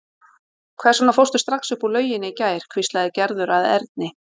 Hvers vegna fórstu strax upp úr lauginni í gær? hvíslaði Gerður að Erni.